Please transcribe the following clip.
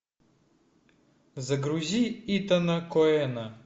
загрузи итана коэна